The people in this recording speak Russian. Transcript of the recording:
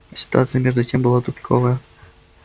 а ситуация между тем была тупиковая